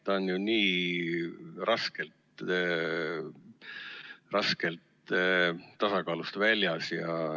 See on ju nii raskelt tasakaalust väljas.